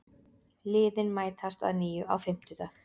Liðin mætast að nýju á fimmtudag